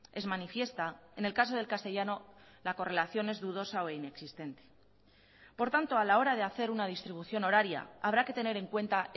es manifiesta en el caso del castellano la correlación es dudosa o inexistente por tanto a la hora de hacer una distribución horaria habrá que tener en cuenta